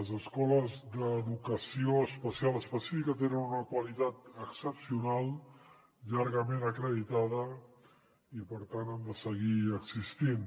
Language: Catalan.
les escoles d’educació especial específica tenen una qualitat excepcional llargament acreditada i per tant han de seguir existint